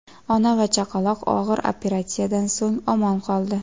Ona va chaqaloq og‘ir operatsiyadan so‘ng omon qoldi.